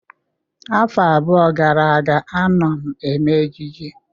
Afọ abụọ gara aga, anọ m eme ejiji